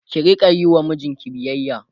ki Rika Yi wa mijinki biyayya